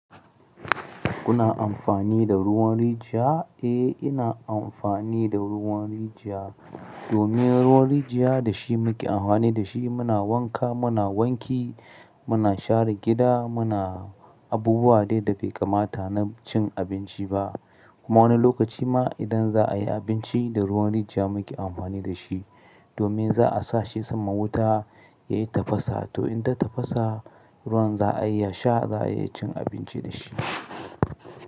Kuna amfani da ruwan rijiya? Eh, ina amfani da ruwan rijiya. Domin ruwan rijiya da shi muke amfani da shi muna wanka, muna wanki, muna share gida. Muna abubuwa dai da bai kamata na cin abinci ba. Kuma wani lokaci ma idan za a yi abinci da ruwan rijiya muke amfani da shi. Domin za a sa shi sama wuta ya yi tafasa, to in ta tafasa, ruwan za a iya sha, za a iya cin abinci da shi.